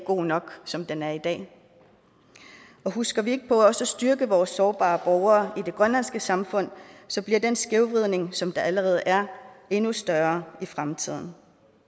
god nok som den er i dag og husker vi ikke på også at styrke vores sårbare borgere i det grønlandske samfund så bliver den skævvridning som der allerede er endnu større i fremtiden